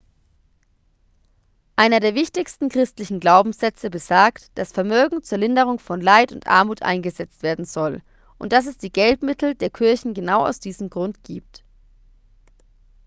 einer der wichtigen christlichen glaubenssätze besagt dass vermögen zur linderung von leid und armut eingesetzt werden soll und dass es die geldmittel der kirchen genau aus diesem grund gibt